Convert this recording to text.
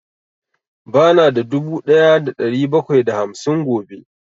Ba na da dubu ɗaya da ɗari bakwai da hamsin gobe